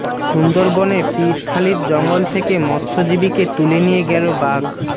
সুন্দরবনে পিরখালির জঙ্গল থেকে মৎস্যজীবীকে তুলে নিয়ে গেল বাঘ